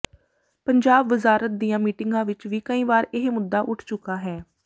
ਪੰਜਾਬ ਵਜ਼ਾਰਤ ਦੀਆਂ ਮੀਟਿੰਗਾਂ ਵਿਚ ਵੀ ਕਈ ਵਾਰ ਇਹ ਮੁੱਦਾ ਉੱਠ ਚੁੱਕਾ ਹੈ